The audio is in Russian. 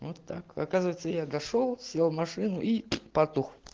вот так оказывается я дошёл сел в машину и патух